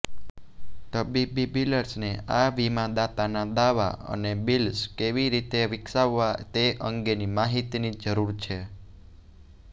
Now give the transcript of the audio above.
તબીબી બિલર્સને આ વીમાદાતાના દાવા અને બિલ્સ કેવી રીતે વિકસાવવા તે અંગેની માહિતીની જરૂર છે